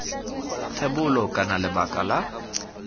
thebolo kana iv lebaka la